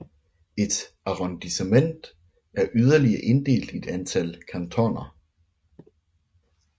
Et arrondissement er yderligere inddelt i et antal cantoner